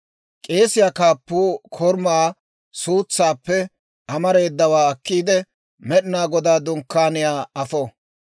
K'eesiyaa kaappuu korumaa suutsaappe amareedawaa akkiide, Med'inaa Godaa Dunkkaaniyaa afo.